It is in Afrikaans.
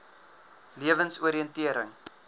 lewensoriëntering